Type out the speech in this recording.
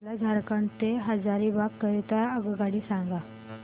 मला झारखंड से हजारीबाग करीता आगगाडी सांगा